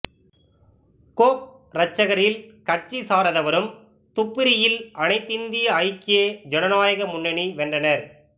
கோக்ரச்கரில் கட்சி சாராதவரும் துப்ரியில் அனைந்திந்திய ஐக்கிய சனநாயக முன்னனி வென்றனர்